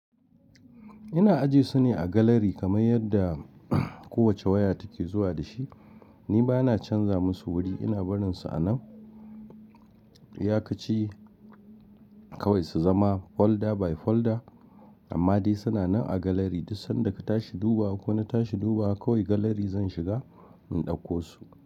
Ina ajiye su ne a galari kamar yadda kowace waya take zuwa da shi. Ni ba na canza musu wuri, ina barin su a nan. Iyakaci kawai su zama folder by folder amma dai suna nan a galari. Duk sanda ka tashi duba ko na tashi duba kawai galari zan shiga in ɗauko su.